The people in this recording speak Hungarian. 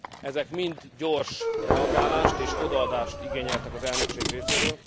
Ezek mind gyors reagálást és odaadást igényeltek az elnökség részéről.